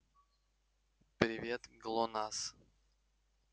привет глонассс